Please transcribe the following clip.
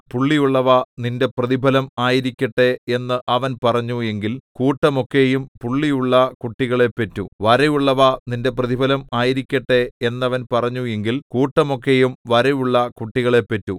പുള്ളിയുള്ളവ നിന്റെ പ്രതിഫലം ആയിരിക്കട്ടെ എന്ന് അവൻ പറഞ്ഞു എങ്കിൽ കൂട്ടമൊക്കെയും പുള്ളിയുള്ള കുട്ടികളെ പെറ്റു വരയുള്ളവ നിന്റെ പ്രതിഫലം ആയിരിക്കട്ടെ എന്നവൻ പറഞ്ഞു എങ്കിൽ കൂട്ടമൊക്കെയും വരയുള്ള കുട്ടികളെ പെറ്റു